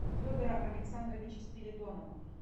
федора александровича спиридонова